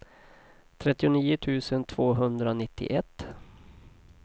trettionio tusen tvåhundranittioett